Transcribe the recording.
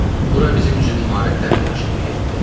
Bura bizim üçün imarətdən də yaxşı bir yer idi.